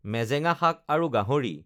মেজেঙা শাক আৰু গাহৰি